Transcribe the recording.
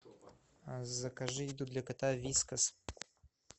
закажи еду для кота вискас